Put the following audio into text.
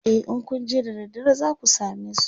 e in Kun je da daddare zaku samesu